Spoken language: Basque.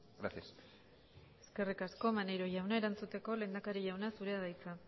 gracias eskerrik asko maneiro jauna erantzuteko lehendakari jauna zurea da hitza